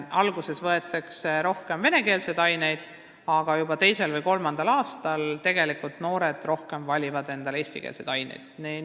Alguses võetakse rohkem venekeelseid aineid, aga juba teisel või kolmandal aastal valivad noored juba rohkem eestikeelseid aineid.